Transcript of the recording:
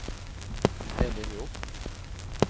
En linje opp